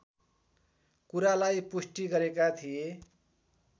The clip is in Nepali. कुरालाई पुष्टि गरेका थिए